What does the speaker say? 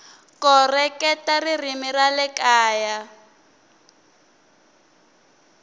koreketa ririmi ra le kaya